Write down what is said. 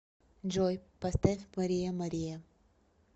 джой поставь мария мария